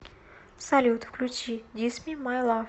салют включи дисми май лав